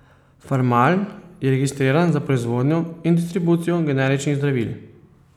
Farmal je registriran za proizvodnjo in distribucijo generičnih zdravil.